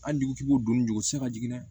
Hali dugutigi b'o dɔn ɲugu ti se ka jigin